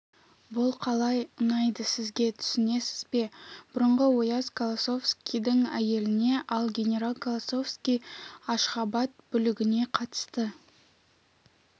бұл қалай ұнайды сізге түсінесіз бе бұрынғы ояз колосовскийдің әйеліне ал генерал колосовский ашғабад бүлігіне қатысты